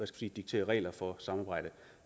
sige diktere regler for samarbejdet